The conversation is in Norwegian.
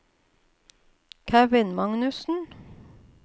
Kevin Magnussen